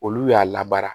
Olu y'a labara